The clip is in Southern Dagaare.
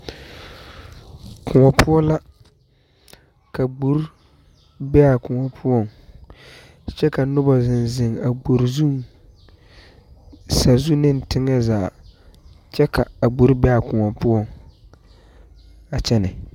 Koɔ poɔ la ka gbori ka gbori be a koɔ poɔŋ kyɛ ka noba zeŋ zeŋ a gbori zuŋ, sazu ne teŋɛ zaa, kyɛ ka a gbori be a koɔ poɔ a kyɛne.